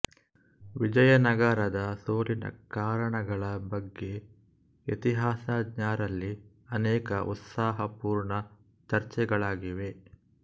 ವಿಜಯನಗರದ ಸೋಲಿನ ಕಾರಣಗಳ ಬಗ್ಯೆ ಇತಿಹಾಸಜ್ಞರಲ್ಲಿ ಅನೇಕ ಉತ್ಸಾಹಪೂರ್ಣ ಚರ್ಚೆಗಳಾಗಿವೆ